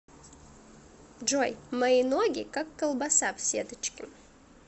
джой мои ноги как колбаса в сеточке